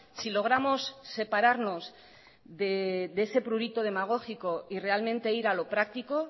si logramos separarnos de ese prurito demagógico y realmente ir a lo práctico